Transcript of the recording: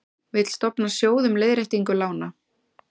Vill stofna sjóð um leiðréttingu lána